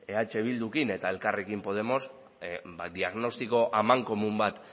eh bildurekin eta elkarrekin podemos diagnostiko amankomun bat